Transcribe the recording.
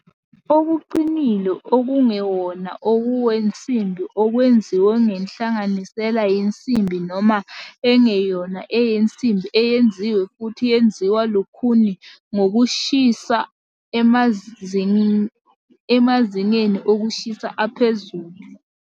okuqinile okungewona okwensimbi okwenziwe ngenhlanganisela yensimbi noma engeyona eyensimbi eyenziwe futhi yenziwa lukhuni ngokushisa emazingeni okushisa aphezulu.